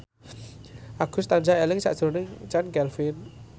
Agus tansah eling sakjroning Chand Kelvin